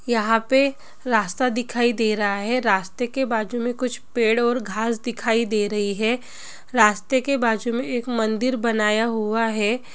यहा पे रास्ता दिखाई दे रहा है| रास्ते के बाजुमे कुछ पेड़ और घास दिखाई दे रही है रास्ते के बाजुमे एक मंदिर बनाया हुवा है ।